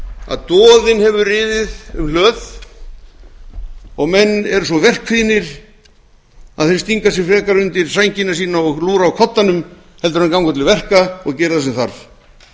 að doðinn hefur riðið um hlöð og menn eru svo verkkvíðnir að þeir stinga sér frekar undir sængina sína og lúra á koddanum en að ganga til verka og gera það sem þarf